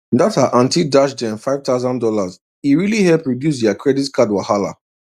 that her aunty dash dem five thousand dollar e really help reduce their credit card wahala